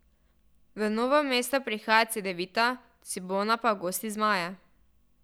V Novo mesto prihaja Cedevita, Cibona pa gosti zmaje.